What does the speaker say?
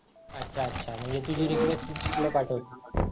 अच्छा अच्छा म्हणजे तुझी रिक्वेस्ट त्यांनी पुढे पाठवली